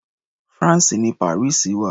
France ni Paris wà.